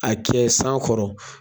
A kɛ san kɔrɔ.